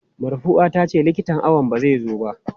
Marfua tace likitan awon ba zai zo ba.